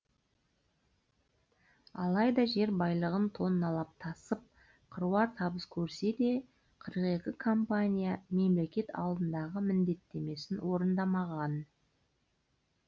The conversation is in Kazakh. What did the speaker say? алайда жер байлығын тонналап тасып қыруар табыс көрсе де қырық екі компания мемлекет алдындағы міндеттемесін орындамаған